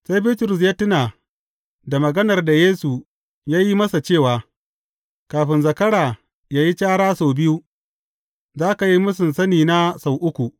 Sai Bitrus ya tuna da maganar da Yesu ya yi masa cewa, Kafin zakara yă yi cara sau biyu, za ka yi mūsun sanina sau uku.